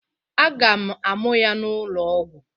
Aga m a mụa ya n'ụlọ ọgwọ.